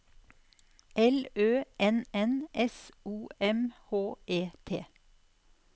L Ø N N S O M H E T